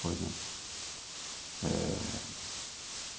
Por exemplo eh.